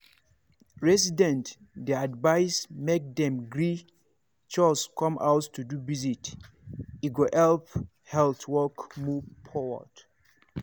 residents dey advised make dem gree chws come house to do visit e go help health work move forward.